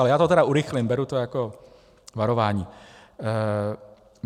Ale já to tedy urychlím, beru to jako varování.